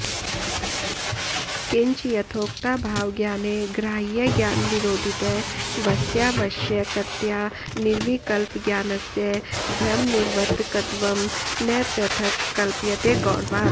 किञ्च यथोक्ताभावज्ञाने ग्राह्यज्ञानविरोधित्वस्यावश्यकतया निर्विकल्पज्ञानस्य भ्रमनिवर्तकत्वं न पृथक् कल्प्यते गौरवात्